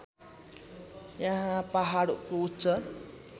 यहाँ पहाडको उच्च